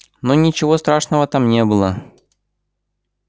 но ничего страшного там не было